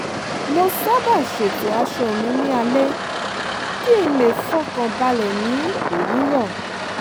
mo sábà ṣètò aṣọ mi ní alẹ́ kí n le fọkàn balẹ̀ ní òwúrọ̀